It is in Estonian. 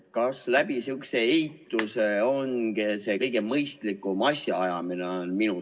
Kas sihukese eituse abil otsustamine on kõige mõistlikum asjaajamine?